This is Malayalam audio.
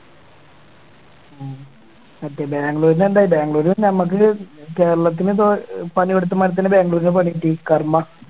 മറ്റേ ബാംഗ്ലൂരിന് എന്തായി ബാംഗ്ലൂർ നമുക്ക് കേരളത്തിന് ഇപ്പൊ പണി കൊടുത്തു മടുത്തെന് ബാംഗ്ലൂരിന് പണി കിട്ടി karma